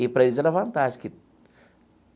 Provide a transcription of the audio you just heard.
E para eles era vantagem que.